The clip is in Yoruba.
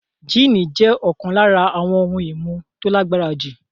Jíìnì jẹ́ ọ̀kan lára àwọn ohun-ìmu tó lágbára jù.